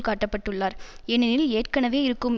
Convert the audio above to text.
காட்டப்பட்டுள்ளார் ஏனெனில் ஏற்கனவே இருக்கும்